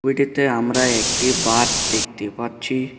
ছবিটিতে আমরা একটি বাঁধ দেখতে পাচ্ছি।